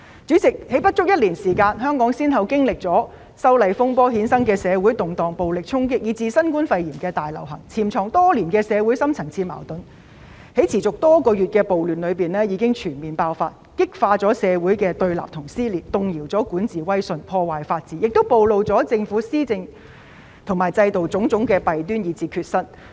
主席，在不足一年內，香港先後經歷了修例風波衍生的社會動盪、暴力衝擊，以至新冠肺炎大流行，潛藏多年的社會深層次矛盾在持續多月的暴亂中全面爆發，激化了社會的對立和撕裂，動搖了管治威信，破壞法治，亦暴露了政府施政和制度的種種弊端及缺失。